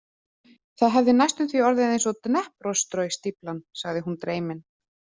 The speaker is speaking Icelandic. Það hefði næstum því orðið eins og Dneprostroi- stíflan, sagði hún dreymin.